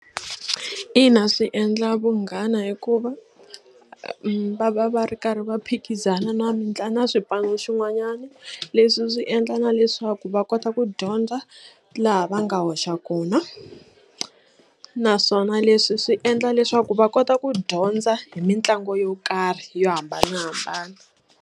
Ina swi endla vunghana hikuva va va va ri karhi va phikizana na na swipano swin'wanyana leswi swi endla na leswaku va kota ku dyondza laha va nga hoxa kona naswona leswi swi endla leswaku va kota ku dyondza hi mitlangu yo karhi yo hambanahambana.